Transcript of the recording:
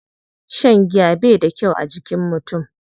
Shan giya bai da kyau a jikin mutum.